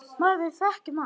Maður þekkir mann.